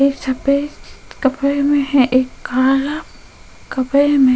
एक सफेद कपड़े में है एक काला कपड़े में --